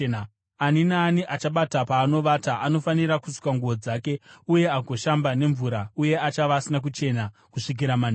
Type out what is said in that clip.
Ani naani achabata paanovata anofanira kusuka nguo dzake uye agoshamba nemvura, uye achava asina kuchena kusvikira manheru.